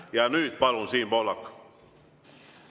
Ja nüüd, palun, Siim Pohlak!